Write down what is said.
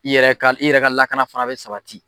I yɛrɛ ka, i yɛrɛ ka lakana fana bɛ sabati.